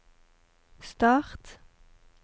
start